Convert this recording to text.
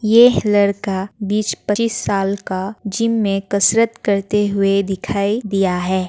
ये लड़का बीस-पच्चीस साल का जिम में कसरत करते हुए दिखाई दिया है।